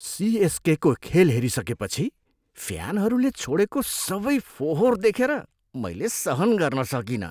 सिएसकेको खेल हेरिसकेपछि फ्यानहरूले छोडेको सबै फोहोर देखेर मैल सहन गर्न सकिनँ।